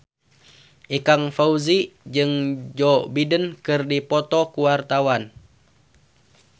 Ikang Fawzi jeung Joe Biden keur dipoto ku wartawan